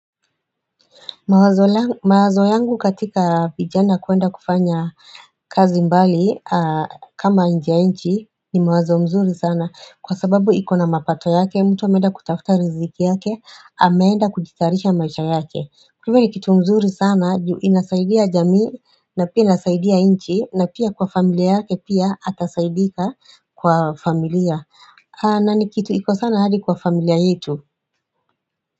Mawazo yangu katika vijana kuenda kufanya kazi mbali, kama nje ya nchi ni mawazo mzuri sana kwa sababu ikona mapato yake mtu ameenda kutafuta riziki yake ameenda kujitayarisha maisha yake kitu mzuri sana juu inasaidia jamii na pia inasaidia nchi na pia kwa familia yake pia atasaidika kwa familia haa na ni kitu iko sana hadi kwa familia yetu.